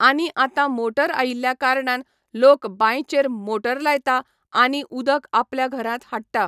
आनी आतां मोटर आयिल्ल्या कारणान लोक बांयचेर मोटर लायता आनी उदक आपल्या घरांत हाडटा.